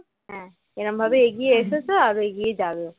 এরকম ভাবে এগিয়ে এসেছ আরো এগিয়ে যাবে